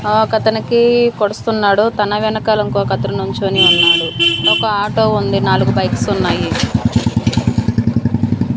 ఆ ఒకతనికి తన వెనకాల ఇంకొకతను నుంచొని ఉన్నాడు ఒక ఆటో ఉంది నాలుగు బైక్స్ ఉన్నాయి.